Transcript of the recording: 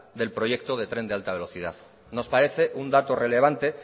del proyecto del tren de alta velocidad nos parece un dato relevante